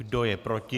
Kdo je proti?